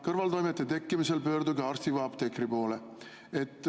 Kõrvaltoimete tekkimisel pöörduge arsti või apteekri poole.